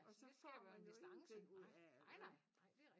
Og så får man jo ingenting ud af det